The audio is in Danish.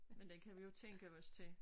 Men den kan vi jo tænkte os til